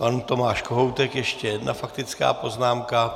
Pan Tomáš Kohoutek ještě jedna faktická poznámka.